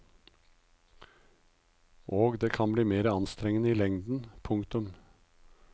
Og det kan bli mer enn anstrengende i lengden. punktum